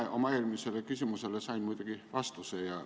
Mina oma eelmisele küsimusele sain muidugi vastuse.